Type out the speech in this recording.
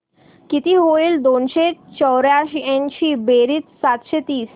किती होईल दोनशे चौर्याऐंशी बेरीज सातशे तीस